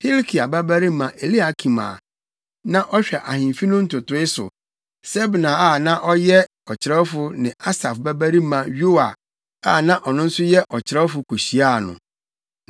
Hilkia babarima Eliakim a na ɔhwɛ ahemfi no ntotoe so; Sebna a na ɔyɛ ɔkyerɛwfo ne Asaf babarima Yoa a na ɔno nso yɛ ɔkyerɛwfo kohyiaa no.